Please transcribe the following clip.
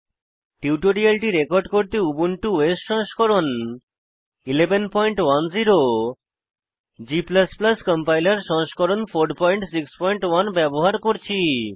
টিউটোরিয়ালটি রেকর্ড করতে Ubuntu OS সংস্করণ 1110 এবং g কম্পাইলার সংস্করণ 461 ব্যবহার করছি